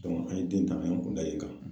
an ye den ta , an ye an kun da yen kan.